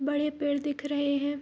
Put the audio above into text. बड़े पेड़ दिख रहें हैं।